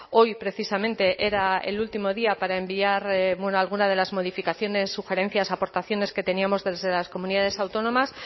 hoy precisamente era el último día para enviar alguna de las modificaciones sugerencias aportaciones que teníamos desde las comunidades autónomas